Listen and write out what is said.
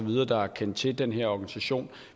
der har kendt til den her organisation